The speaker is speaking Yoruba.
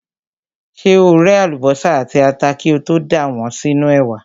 Ṣé o ré àlùbọ́sà àti ata kí o tó dà wọ́n sínú ẹ̀wà?